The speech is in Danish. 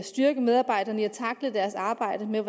styrke medarbejderne i at tackle deres arbejde med